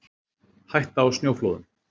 Hætta á snjóflóðum